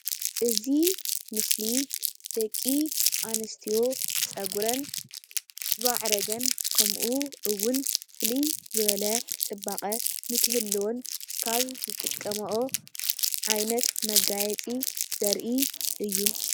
እዚ ምስሊ ደቂ ኣንስትዮ ፀጉረን ዝማዕረገን ከምኡ እዉን ፍልይ ዝበለ ፅባቐ ንክህልወን ካብ ዝጥቀምኦ ዓይነት መጋየፂ ዘርኢ እዩ፡፡